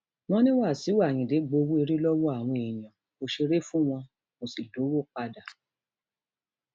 wọn ní wàsíù ayíǹde gbowó èrè lọwọ àwọn èèyàn kò ṣeré fún wọn kó sì dọwọ padà